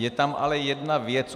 Je tam ale jedna věc.